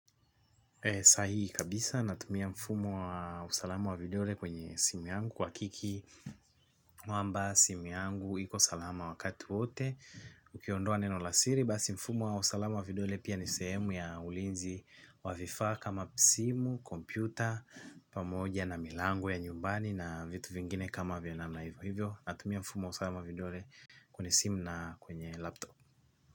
Sahi kabisa natumia mfumo wa usalama wa vidole kwenye simu yangu kuhakiki, kwamba simu yangu iko salama wakati wote, ukiondoa neno la siri basi mfumo wa usalama wa vidole pia ni sehemu ya ulinzi. Wa vifaa kama simu, kompyuta, pamoja na milango ya nyumbani na vitu vingine kama vionamu na hivyo natumia mfumo wa usalama wa vidole kwenye simu na kwenye laptop.